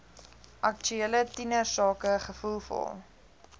aktuele tienersake gevoelvol